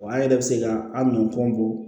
Wa an yɛrɛ bɛ se ka an nɔnpɔn bɔ